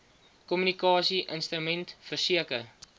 kommunikasie instrument verseker